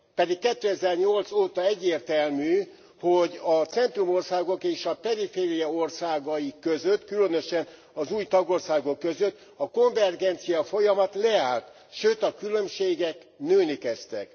Pedig 2008 óta egyértelmű, hogy a centrum országok és a periféria országai között, különösen az új tagországok között, a konvergenciafolyamat leállt, sőt, a különbségek nőni kezdtek.